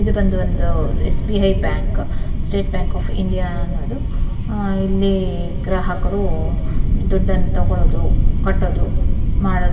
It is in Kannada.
ಇದು ಬಂದು ಒಂದು SBI bank state bank of India ಅನ್ನೋದು ಇಲ್ಲಿ ಗ್ರಾಹಕರು ದುಡ್ಡನ್ನ ತಕೊಳ್ಳೋದು ಕಟ್ಟೋದು ಮಾಡೋದು --